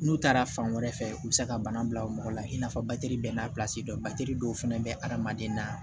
N'u taara fan wɛrɛ fɛ u be se ka bana bila o mɔgɔ la i n'a fɔ bɛɛ n'a don dɔw fɛnɛ bɛ adamaden na